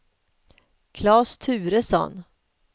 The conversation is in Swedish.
Klas Turesson